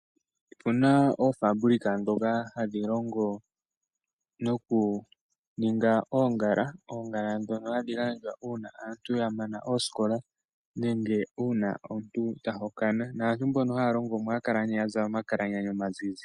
Opuna ofambulika dhoka hadhilongo nokuninga ongala , ongala dhono hadhi gandjwa una aantu yamana oosikola nenge una omuntu tahokana , naantu mboka halongomo oha kala ne yazala omakalanyana omanzinzi.